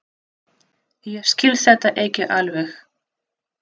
Ég skil þetta ekki alveg.